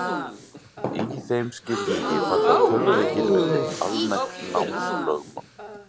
Í þeim skilningi falla tölvuleikir undir almennt námslögmál.